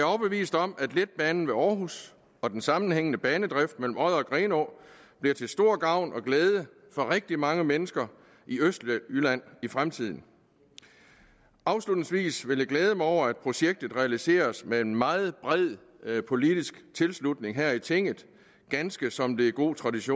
overbevist om at letbanen ved aarhus og den sammenhængende banedrift mellem odder og grenaa bliver til stor gavn og glæde for rigtig mange mennesker i østjylland i fremtiden afslutningsvis vil jeg glæde mig over at projektet realiseres med en meget bred politisk tilslutning her i tinget ganske som det er god tradition